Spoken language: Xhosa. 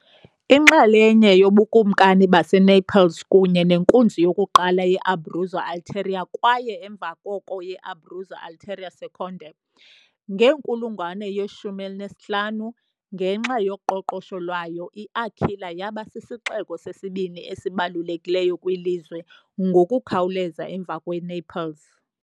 Inxalenye yoBukumkani baseNaples kunye nenkunzi yokuqala ye-Abruzzo Ulteriore kwaye emva koko ye-Abruzzo Ulteriore Secondo, ngenkulungwane ye-15, ngenxa yoqoqosho lwayo, i-Aquila yaba sisixeko sesibini esibalulekileyo kwilizwe, ngokukhawuleza emva kweNaples .